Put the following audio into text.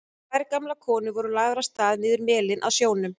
Tvær gamlar konur voru lagðar af stað niður melinn að sjónum.